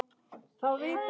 Núna vantar íbúðir.